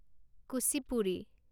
Kuchipudi